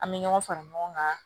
An bɛ ɲɔgɔn fara ɲɔgɔn kan